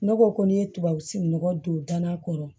Ne ko ko n'i ye tubabu sigininɔgɔ don da kɔrɔ